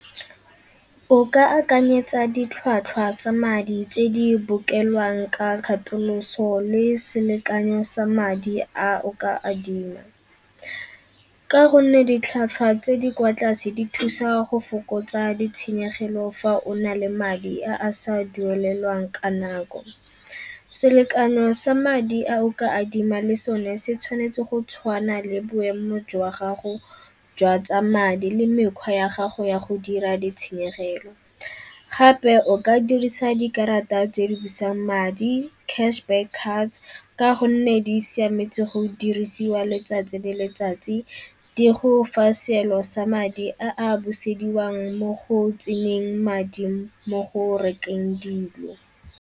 O ka akanyetsa ditlhwatlhwa tsa madi tse di bokelwang ka kgatoloso le selekanyo sa madi a o ka adima, ka gonne ditlhwatlhwa tse di kwa tlase di thusa go fokotsa ditshenyegelo fa o na le madi a a sa dumelelwang ka nako. Selekano sa madi a o ka adima le sone se tshwanetse go tshwana le boemo jwa gago jwa tsa madi le mekgwa ya gago ya go dira di tshenyegelo. Gape o ka dirisa dikarata tse di busang madi cash back cards ka gonne di siametsi go dirisiwa letsatsi le letsatsi, di go fa seelo sa madi a a busediwang mo go tseneng madi mo go rekeng dilo.